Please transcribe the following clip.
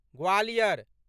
Gwalior